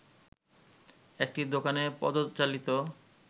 একটি দোকানে পদ-চালিত